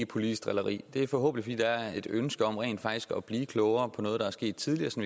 politisk drilleri det er forhåbentlig fordi der er et ønske om rent faktisk at blive klogere på noget der er sket tidligere så